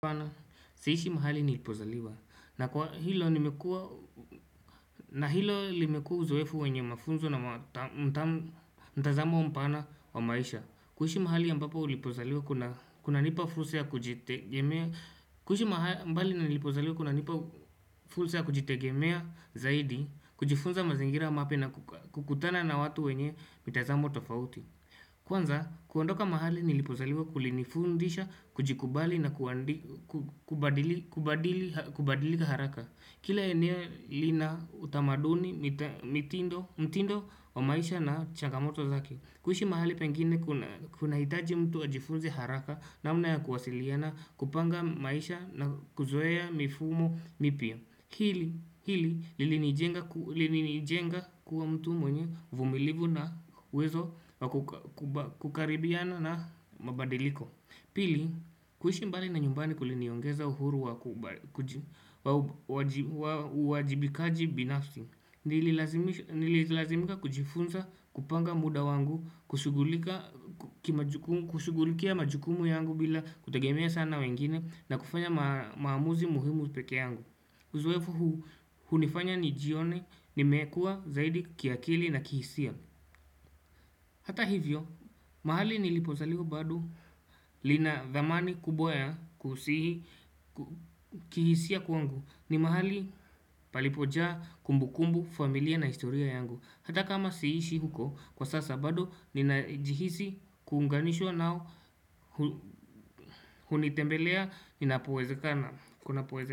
Siishi mahali nilipozaliwa na hilo limekuwa uzoefu wenye mafunzo na mtazamo mpana wa maisha kuiishi mahali ambapo nilipozaliwa kuna nipa fursa ya kujitegemea zaidi kujifunza mazingira mapya na kukutana na watu wenye mitazamo tofauti Kwanza, kuondoka mahali nilipozaliwa kulinifundisha, kujikubali na kubadilika haraka. Kila eneo lina utamaduni mtindo wa maisha na changamoto zake. Kuiishi mahali pengine kuna hitaji mtu ajifunze haraka namna ya kuwasiliana kupanga maisha na kuzoea mifumo mpya. Hili lilinijenga kuwa mtu mwenye uvumilivu na uwezo wa kukaribiana na mabadiliko Pili, kuiishi mbali na nyumbani kuliniongeza uhuru wa uwajibikaji binafsi Nili lazimika kujifunza kupanga muda wangu, kushigulikia majukumu yangu bila kutagemia sana wengine na kufanya maamuzi muhimu peke yangu Uzoefu hunifanya nijione nimekuwa zaidi kiakili na kihisia. Hata hivyo, mahali nilipozaliwa bado lina thamani kubwa ya kihisia kwangu ni mahali palipojaa kumbukumbu familia na historia yangu. Hata kama siishi huko kwa sasa badu ninajihisi kuunganishwa nao hunitembelea inapowezekana.